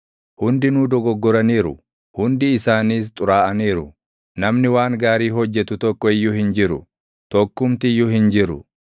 Hundinuu dogoggoraniiru; hundi isaaniis xuraaʼaniiru; namni waan gaarii hojjetu tokko iyyuu hin jiru; tokkumti iyyuu hin jiru.